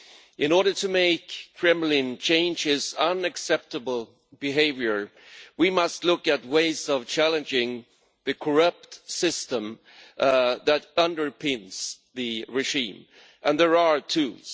In order to make the Kremlin change its unacceptable behaviour we must look at ways of challenging the corrupt system that underpins the regime. There are tools.